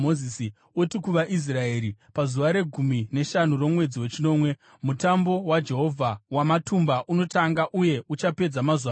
“Uti kuvaIsraeri, ‘Pazuva regumi neshanu romwedzi wechinomwe Mutambo waJehovha waMatumba unotanga, uye uchapedza mazuva manomwe.